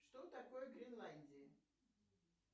что такое гренландия